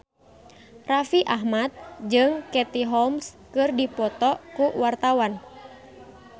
Raffi Ahmad jeung Katie Holmes keur dipoto ku wartawan